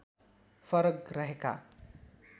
फरक रहेका